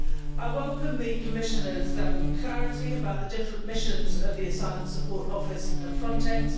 I welcome the Commissioner's clarity about the different missions of the Asylum Support Office and Frontex.